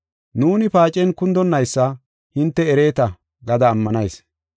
Nuuni paacen kundonaysa hinte ereeta gada ammanayis.